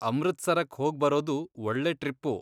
ಅಮೃತ್ಸರಕ್ ಹೋಗ್ಬರೋದು ಒಳ್ಳೆ ಟ್ರಿಪ್ಪು.